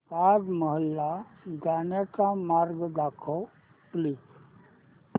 ताज महल ला जाण्याचा महामार्ग दाखव प्लीज